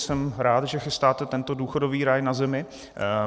Jsem rád, že chystáte tento důchodový ráj na zemi.